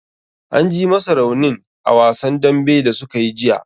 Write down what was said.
An ji masa raunin a wasan dambe da sukayi jiya.